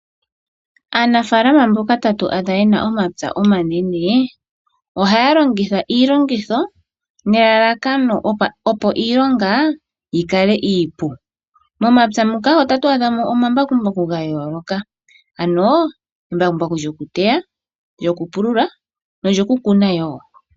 Aanafalama mboka ta tu adha yena omapya omanene, ohaya longitha iilongitho nelalakano opo iilonga yi kale iipu. Momapya muka otatu adha mo omambakumbaku ga yooloka, ano embakumbaku lyokuteya, lyokupulula nolyokukuna wo.